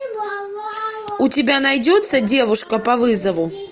у тебя найдется девушка по вызову